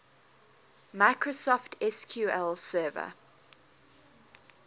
microsoft sql server